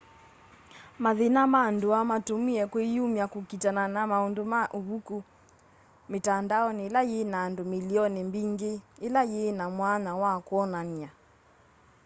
mathĩna ma ndũa matũmĩe kwĩyũmya kũkitana na maũndũ ma ũvũkũ mitandaonĩ ĩla yĩna andũ mĩlĩonĩ mbĩngĩ ĩla yĩ na mwanya wa kwonanya